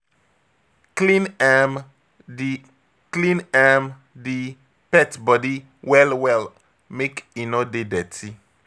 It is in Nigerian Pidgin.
Clean um di Clean um di pet body well well make e no dey dirty